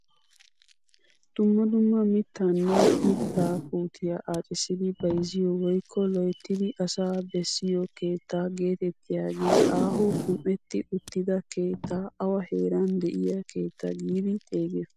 Dumma dumma mittaanne mittaa puutiyaa accisidi bayzziyoo woykko loyttidi asaa bessiyoo keettaa geetettiyaagee aaho qum"etti uttida keettaa awa heeran de'iyaa keettaa giidi xeegiyoo?